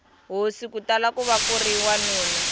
hosi kutala kuva kuri wanuna